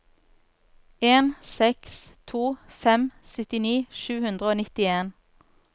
en seks to fem syttini sju hundre og nittien